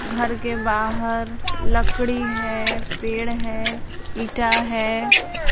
घर के बाहर लकड़ी है पेड़ है इंटा है।